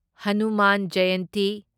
Hanuman Jayanti